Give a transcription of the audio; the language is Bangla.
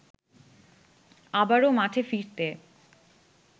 আবারো মাঠে ফিরতে